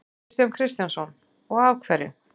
Kristján Kristjánsson: Og af hverju?